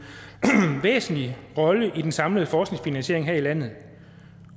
væsentlig rolle i den samlede forskningsfinansiering her i landet